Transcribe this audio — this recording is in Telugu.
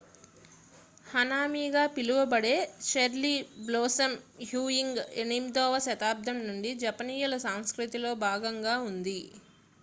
హనామి గా పిలువబడే చెర్రీ బ్లోసమ్ వ్యూయింగ్ 8వ శతాబ్దం నుండి జపనీయుల సంస్కృతిలో భాగంగా ఉంది